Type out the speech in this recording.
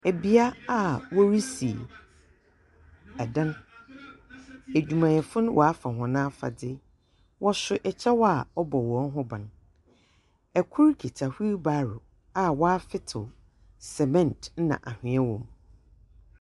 Bea a worisi dan, edwumayɛfo no wɔafa hɔn afadze, wɔso kyɛw a ɔbɔ hɔn ho ban, kor kitahweel barrow a wɔafetsew sɛmɛnt na anhwea wɔ mu.